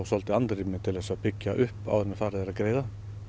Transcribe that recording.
andrými til að byggja upp áður en farið er að greiða